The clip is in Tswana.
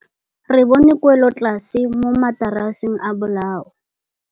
Re bone wêlôtlasê mo mataraseng a bolaô.